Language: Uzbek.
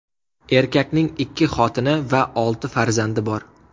Erkakning ikki xotini va olti farzandi bor.